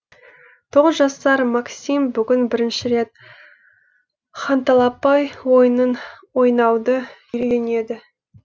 тоғыз жасар максим бүгін бірінші рет ханталапай ойынын ойнауды үйренді